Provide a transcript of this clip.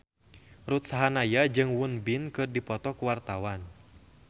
Ruth Sahanaya jeung Won Bin keur dipoto ku wartawan